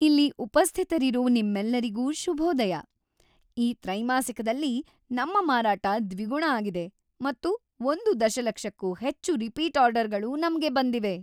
ಇಲ್ಲಿ ಉಪಸ್ಥಿತರಿರೋ ನಿಮ್ಮೆಲ್ಲರಿಗೂ ಶುಭೋದಯ. ಈ ತ್ರೈಮಾಸಿಕದಲ್ಲಿ ನಮ್ಮ ಮಾರಾಟ ದ್ವಿಗುಣ ಆಗಿದೆ ಮತ್ತು ಒಂದು ದಶಲಕ್ಷಕ್ಕೂ ಹೆಚ್ಚು ರಿಪೀಟ್ ಆರ್ಡರ್‌ಗಳು ನಮ್ಗೆ ಬಂದಿವೆ.